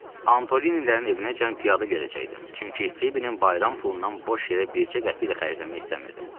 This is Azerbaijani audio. Antolinlərin evinəcən piyada gedəcəkdim, çünki Fibinin bayram pulundan boş yerə bircə qəpik də xərcləmək istəmirdim.